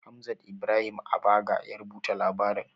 Hamzat Ibrahim Abaga ya rubuta labarin.